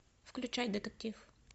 включай детектив